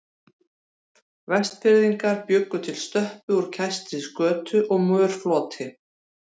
Vestfirðingar bjuggu til stöppu úr kæstri skötu og mörfloti.